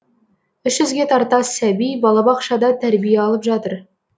үш жүзге тарта сәби балабақшада тәрбие алып жатыр